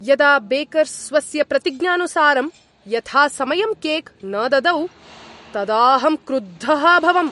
यदा बेकर् स्वस्य प्रतिज्ञानुसारं यथासमयं केक् न ददौ तदा अहं क्रुद्धः अभवम्।